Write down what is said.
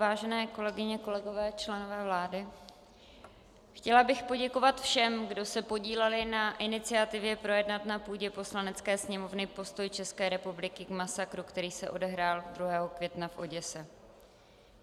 Vážení kolegyně, kolegové členové vlády, chtěla bych poděkovat všem, kdo se podíleli na iniciativě projednat na půdě Poslanecké sněmovny postoj České republiky k masakru, který se odehrál 2. května v Oděse.